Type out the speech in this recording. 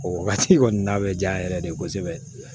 O wagati kɔni na bɛ diya n yɛrɛ de ye kosɛbɛ